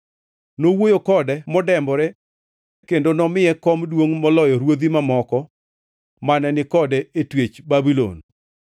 Nowuoyo kode modembore kendo nomiye kom duongʼ moloyo ruodhi mamoko mane ni kode e twech Babulon.